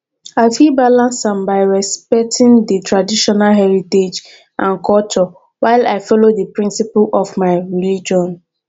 i fit balance am by respecting di traditional heritage and culture while i follow di principle of my religion